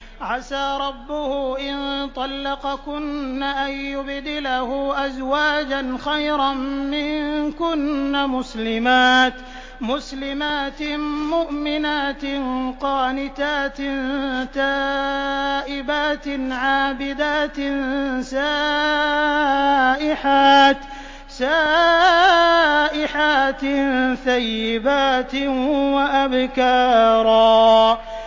عَسَىٰ رَبُّهُ إِن طَلَّقَكُنَّ أَن يُبْدِلَهُ أَزْوَاجًا خَيْرًا مِّنكُنَّ مُسْلِمَاتٍ مُّؤْمِنَاتٍ قَانِتَاتٍ تَائِبَاتٍ عَابِدَاتٍ سَائِحَاتٍ ثَيِّبَاتٍ وَأَبْكَارًا